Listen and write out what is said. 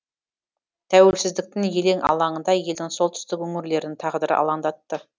тәуелсіздіктің елең алаңында елдің солтүстік өңірлерінің тағдыры алаңдатты